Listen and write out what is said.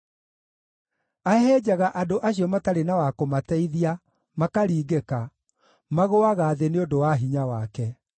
Ahehenjaga andũ acio matarĩ na wa kũmateithia, makaringĩka; magũũaga thĩ nĩ ũndũ wa hinya wake.